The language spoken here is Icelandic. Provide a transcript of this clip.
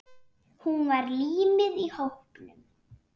Hún var límið í hópnum.